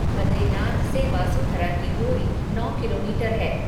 बद्रीनाथ से वासुधरा की दूरी नौ किलोमीटर है।